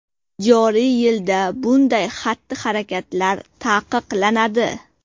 Joriy yilda bunday xatti-harakatlar taqiqlanadi.